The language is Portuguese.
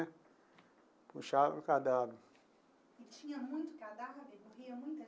Puxava o cadáver. E tinha muito cadáver, morria muita?